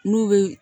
N'u bɛ